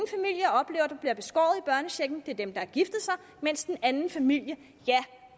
børnechecken det er dem der har giftet sig mens den anden familie